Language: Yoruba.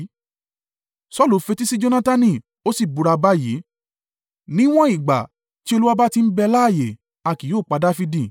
Saulu fetísí Jonatani, ó sì búra báyìí, “Níwọ́n ìgbà tí Olúwa bá ti ń bẹ láààyè, a kì yóò pa Dafidi.”